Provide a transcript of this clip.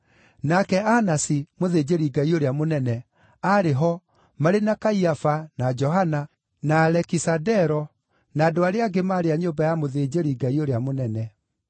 Nake Anasi, mũthĩnjĩri-Ngai ũrĩa mũnene, aarĩ ho, marĩ na Kaiafa, na Johana, na Alekisandero, na andũ arĩa angĩ maarĩ a nyũmba ya mũthĩnjĩri-Ngai ũrĩa mũnene.